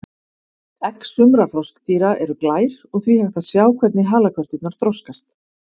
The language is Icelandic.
Egg sumra froskdýra eru glær og því hægt að sjá hvernig halakörturnar þroskast.